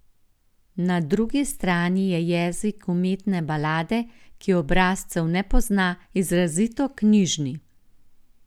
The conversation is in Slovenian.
Na drugi strani je jezik umetne balade, ki obrazcev ne pozna, izrazito knjižni.